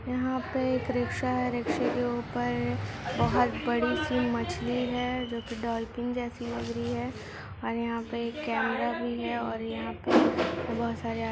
यहाँ पे एक रिख्शा है रिक्शे के ऊपर बहुत बड़ी सी मछली है जोकि डोल्फिन जैसा लग रही है और यहाँ पे कमेरा भी है औरयहाँ पे बहुत सारे --